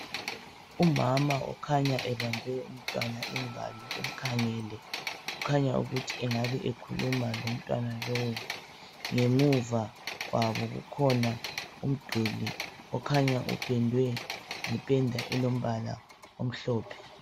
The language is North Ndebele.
Umama okhanya ebambe umntwana ingalo emkhangele, kukhanya ukuthi engabe ekhuluma lomntwana lowo. Ngemuva kwabo kukhona umduli okhanya upendwe ngependa elombala omhlophe.